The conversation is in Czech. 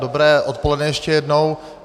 Dobré odpoledne, ještě jednou.